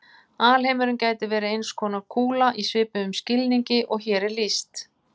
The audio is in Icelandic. Alheimurinn gæti verið eins konar kúla í svipuðum skilningi og hér er lýst.